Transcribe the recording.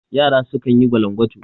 Yara sukan yi gwalangwatu